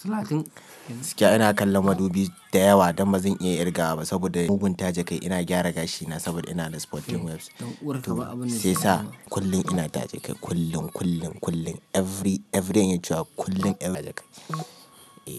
Gaskiya ina kallon madubi dayawa, dan bazan iya ƙirgawa ba saboda mugun taje kai. Ina gyara gashina saboda ina da sporting waves. Sai sa kullum ina taje kai, kullum, kullum, kullum. Every, everyday in yaje kullum.